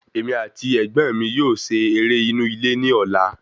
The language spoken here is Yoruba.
Èmi àti ẹ̀gbọ́n mí yóò se eré inú ilé ní ọ̀la